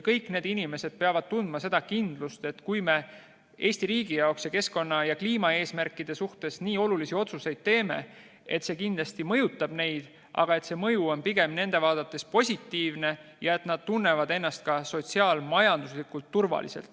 Kõik inimesed peavad tundma kindlust, et kui me Eesti riigi jaoks ja keskkonna ja kliimaeesmärkide täitmise jaoks nii olulisi otsuseid teeme, siis see kindlasti mõjutab neid, aga see mõju on pigem nende vaates positiivne ja nad tunnevad ennast ka sotsiaal-majanduslikult turvaliselt.